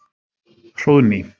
Hróðný